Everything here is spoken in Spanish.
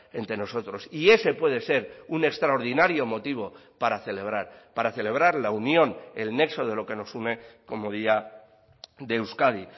entre nosotros y ese puede ser un extraordinario motivo para celebrar para celebrar la unión el nexo de lo que nos une como día de euskadi